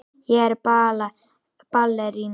Ég er ballerína.